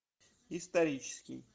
исторический